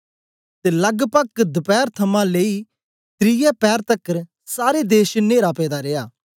ते लगपग दपैर थमां लेई त्रिऐ पैर तकर सारे देश च न्हेरा पेदा रिया